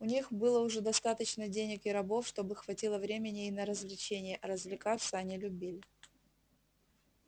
у них было уже достаточно денег и рабов чтобы хватило времени и на развлечения а развлекаться они любили